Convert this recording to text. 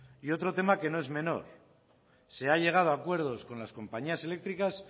y otro tema que no es mejor se ha llegado a acuerdos con las compañías eléctricas